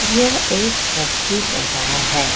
यह एक सब्जी बजार है।